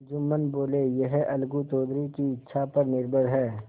जुम्मन बोलेयह अलगू चौधरी की इच्छा पर निर्भर है